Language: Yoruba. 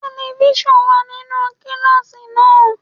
Telifíṣàn wà nínú kíláàsì náà.